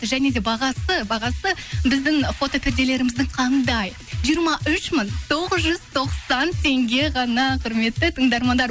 және де бағасы біздің фотоперделеріміздің қандай жиырма үш мың тоғыз жүз тоқсан теңге ғана құрметті тыңдармандар